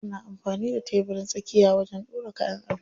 Wasu na amfani da tebirin tsakiya wajen ɗora kayan ado.